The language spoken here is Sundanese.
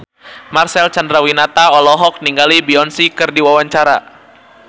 Marcel Chandrawinata olohok ningali Beyonce keur diwawancara